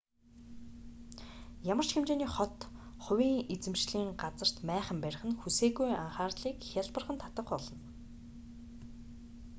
ямар ч хэмжээний хот хувийн эзэмшлийн газарт майхан барих нь хүсээгүй анхаарлыг хялбархан татах болно